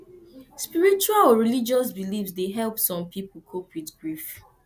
spiritual or religious beliefs dey help some people cope with grief